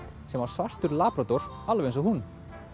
sem var svartur labrador alveg eins og hún